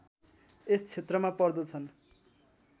यस क्षेत्रमा पर्दछन्